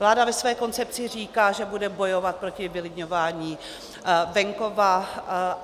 Vláda ve své koncepci říká, že bude bojovat proti vylidňování venkova.